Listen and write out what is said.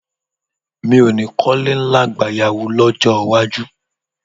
Mi ò ní kọ́lé ńlá gbayawu lọ́jọ́ iwájú